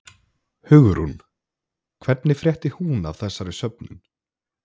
Hugrún: Hvernig frétti hún af þessari söfnun?